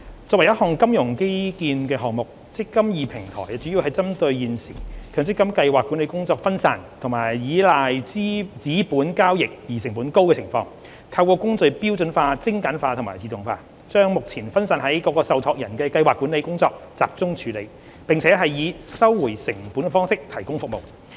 作為一項金融基建項目，"積金易"平台主要針對現時強制性公積金計劃管理工作分散及倚賴紙本交易而成本高的情況，透過工序標準化、精簡化和自動化，把目前分散於各個受託人的計劃管理工作集中處理，並以收回成本的方式提供服務。